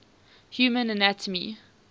human anatomy